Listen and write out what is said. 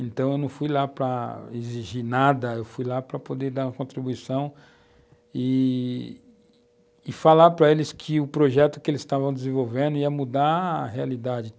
Então eu não fui lá para exigir nada, eu fui lá para poder dar uma contribuição e falar para eles que o projeto que eles estavam desenvolvendo ia mudar a realidade.